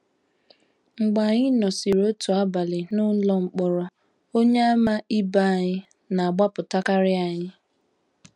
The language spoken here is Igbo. Mgbe anyị nọsịrị otu abalị n’ụlọ mkpọrọ, Onyeàmà ibe anyị na - agbapụtakarị anyị.